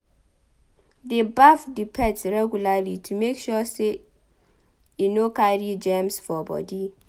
Dey baff di pet regularly to make sure sey e no dey carry germs for body